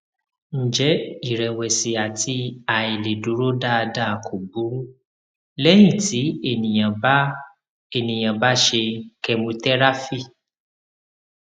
ǹjẹ iìrẹwẹsì àti àìlèdúró dáadáa kò burú lẹyìn tí ènìyàn bá ènìyàn bá ṣe chemotherapy